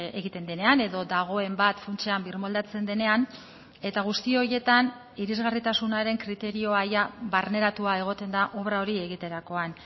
egiten denean edo dagoen bat funtsean birmoldatzen denean eta guzti horietan irisgarritasunaren kriterioa barneratua egoten da obra hori egiterakoan